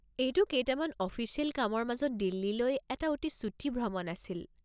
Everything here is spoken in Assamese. এইটো কেইটামান অফিচিয়েল কামৰ মাজত দিল্লীলৈ এটা অতি চুটি ভ্ৰমণ আছিল।